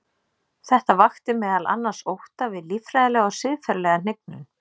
Þetta vakti meðal annars ótta við líffræðilega og siðferðilega hnignun.